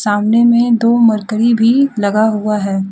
सामने में दो मर्करी भी लगा हुआ है।